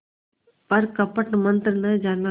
पर कपट मन्त्र न जाना